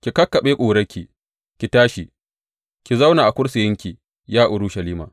Ki kakkaɓe ƙurarki; ki tashi, ki zauna a kursiyinki, ya Urushalima.